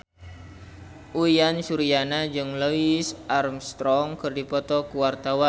Uyan Suryana jeung Louis Armstrong keur dipoto ku wartawan